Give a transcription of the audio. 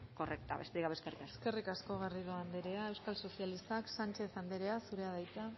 correcta besterik gabe eskerrik asko eskerrik asko garrido anderea euskal sozialistak sánchez anderea zurea da hitza